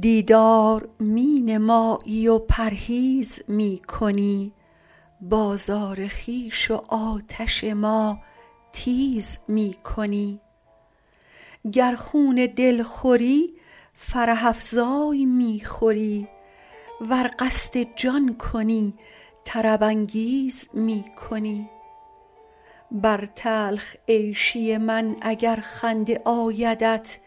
دیدار می نمایی و پرهیز می کنی بازار خویش و آتش ما تیز می کنی گر خون دل خوری فرح افزای می خوری ور قصد جان کنی طرب انگیز می کنی بر تلخ عیشی من اگر خنده آیدت